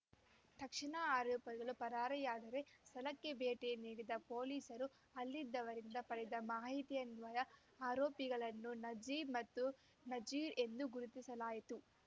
ತಕ್ಷಣ ಆರೋಪಿಗಳು ಪರಾರಿಯಾದರು ಸ್ಥಳಕ್ಕೆ ಭೇಟಿ ನೀಡಿದ ಪೊಲೀಸರು ಅಲ್ಲಿದ್ದವರಿಂದ ಪಡೆದ ಮಾಹಿತಿಯನ್ವಯ ಆರೋಪಿಗಳನ್ನು ನಜೀಬ್‌ ಮತ್ತು ನಜೀರ್‌ ಎಂದು ಗರುತಿಸಲಾಯಿತು